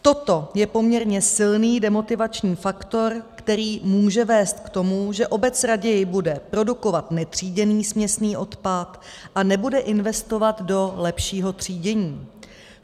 Toto je poměrně silný demotivační faktor, který může vést k tomu, že obec raději bude produkovat netříděný směsný odpad a nebude investovat do lepšího třídění.